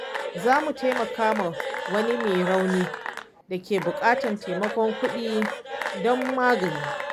Za mu taimaki wani mai rauni da ke buƙatar taimakon kudi don magani.